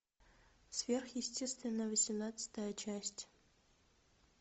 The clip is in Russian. сверхъестественное восемнадцатая часть